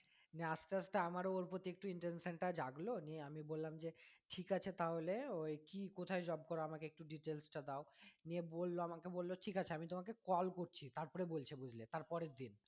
না আস্তে আস্তে আমার ও ওর প্রতি একটু intention টা জাগলো নিয়ে আমি বললাম যে ঠিক আছে তাহলে ওই কি কোথায় job করো আমাকে একটু details টা দাও নিয়ে বললো আমাকে বললো ঠিক আছে আমি তোমাকে call করছি তারপরে বলছে বুঝলে তার পরের দিন